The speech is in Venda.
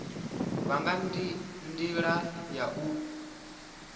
vha nga ndila ya u